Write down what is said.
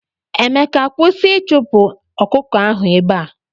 Emeka kwụsị ichupu ọkụkọ ahụ ebea!!!!.